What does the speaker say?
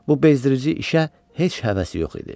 Bu bezdirici işə heç həvəsi yox idi.